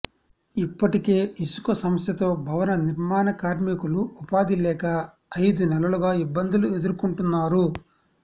ఇప్పటికే ఇసుక సమస్యతో భవన నిర్మాణ కార్మికులు ఉపాధి లేక ఐదు నెలలుగా ఇబ్బందులు ఎదుర్కొంటున్నారు